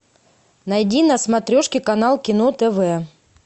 найди на смотрешке канал кино тв